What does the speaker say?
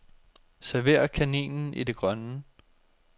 Server kaninen i det grønne.